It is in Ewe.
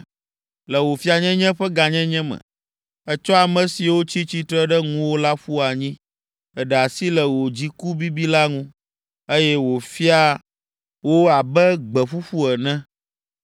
“Le wò fianyenye ƒe gãnyenye me, ètsɔ ame siwo tsi tsitre ɖe ŋuwò la ƒu anyi. Èɖe asi le wò dziku bibi la ŋu, eye wòfia wo abe gbe ƒuƒu ene.